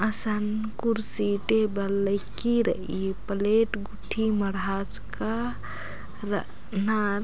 असन कुर्सी टेबल लईकी रइई प्लेट गूट्ठी मढ़ाचका रअनर--